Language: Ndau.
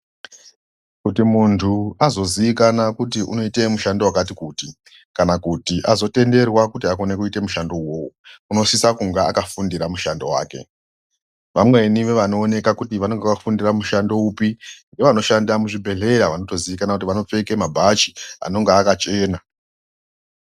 Kuti muntu azoziikanwa kuti unoite mushando wakati kuti, kana kuti azotenderwa kuti aite mushandowo, unosisa kunga akafundira mishando wake. Vamweni vevanooneka kuti vanenga vakafundira mushando upi, ngevanoshanda muzvibhedhleya, vanotoziikanwa kuti vanopfeke mabhachi anonga akachena.